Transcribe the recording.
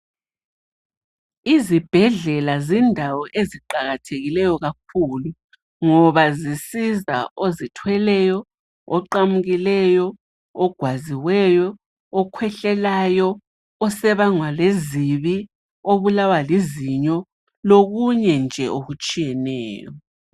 Izibhedlela zindawo eziqakathekileyo kakhulu ngabo zisiza ozithweleyo, oqamukileyo, ogwaziweyo, okhwehlelayo, osebangwa lezibi, obulawa lizinyo lokunye nje okutshiyeneyo